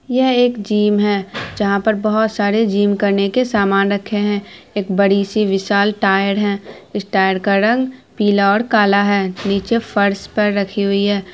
यह एक जीम है जहा पर बहुत सारे जीम करने के सामान रखे है एक बड़ी सी बिशाल टायर है इस टायर का रंग पीला और काला है। निचे फर्श पर रखी हु है।